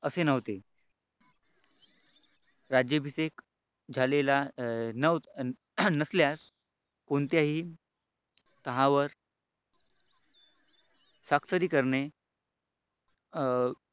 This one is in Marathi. असे नव्हते राज्याभिषेक झालेला नसल्यास कोणत्याही तहावर स्वाक्षरी करणे अं